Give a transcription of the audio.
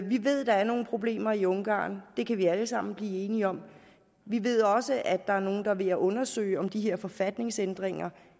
vi ved der er nogle problemer i ungarn det kan vi alle sammen blive enige om vi ved også at der er nogle der er ved at undersøge om de her forfatningsændringer